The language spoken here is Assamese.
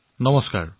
নমস্কাৰ মহোদয়